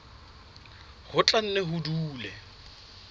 ho tla nne ho dule